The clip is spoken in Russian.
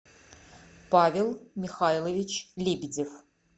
павел михайлович лебедев